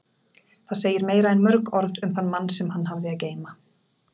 Það segir meira en mörg orð um þann mann sem hann hafði að geyma.